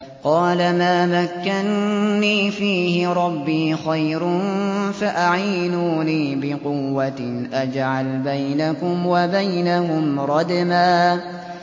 قَالَ مَا مَكَّنِّي فِيهِ رَبِّي خَيْرٌ فَأَعِينُونِي بِقُوَّةٍ أَجْعَلْ بَيْنَكُمْ وَبَيْنَهُمْ رَدْمًا